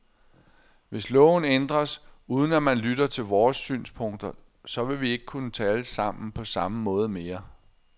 Hvis loven ændres, uden at man lytter til vores synspunkter, så vil vi ikke kunne tale sammen på samme måde mere.